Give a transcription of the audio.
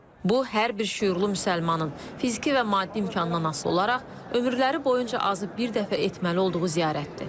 Bu, hər bir şüurlu müsəlmanın fiziki və maddi imkandan asılı olaraq ömürləri boyunca azı bir dəfə etməli olduğu ziyarətdir.